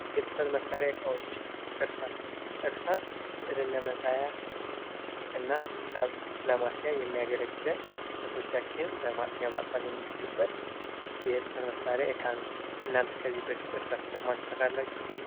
የጽህፈት መሳሪያ እቃዎች እርሳስ እርሳስ ስዕልን ለመሳብ እና ሂሳብን ለማስያ የሚያገለግለን ጽህፈቶቻችንን በማጥፋት የምንችልበት የጽህፈት መሳሪያ እቃ ነው። እናንተ ከዚህ በፊት እርሳስ ተጠቅማችሁ ታውቃላችሁ?